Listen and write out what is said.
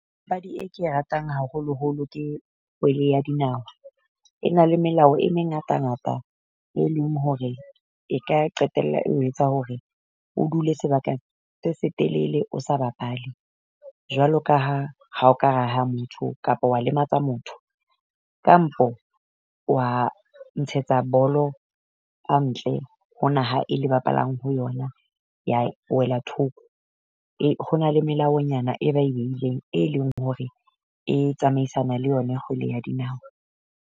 Papadi e ke e ratang haholoholo ke kgwele ya dinahwa. E na le melao e mengata-ngata e leng hore e ka qetella eo etsa hore o dule sebaka se setelele o sa bapale. Jwalo ka ha ha o ka raha motho kapa wa lematsa motho, Kampo wa ntshetsa bolo ntle ho naha e le bapalang ho yona ya wela thoko. Ho na le melaonyana e ba e beileng e leng hore e tsamaisana le yona kgwele ya dinao.